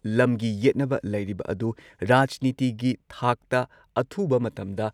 ꯂꯝꯒꯤ ꯌꯦꯠꯅꯕ ꯂꯩꯔꯤꯕ ꯑꯗꯨ ꯔꯥꯖꯅꯤꯇꯤꯒꯤ ꯊꯥꯛꯇ ꯑꯊꯨꯕ ꯃꯇꯝꯗ